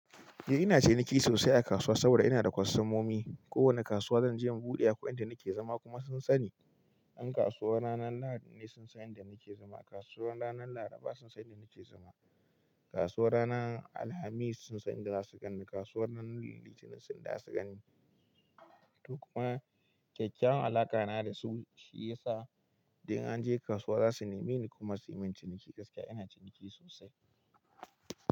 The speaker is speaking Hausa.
Eh ina ciniki sosai a kasuwa saboda ina da kwastomomi. Kowane kasuwa zan je in buɗe akwai inda nake zama kuma sun sani. In kasuwar ranar Lahadi ne sun san inda nake zama, kasuwar ranar Laraba sun san inda nake zama, kasuwar ranar Alhamis sun san inda za su ganni, kasuwar ranar Litinin sun san inda zasu ganni. To kuma kyakyawan alaƙa na da su shi yasa idan an je kasuwa za su neme ni kuma su yi min ciniki gaskiya ina ciniki sosai.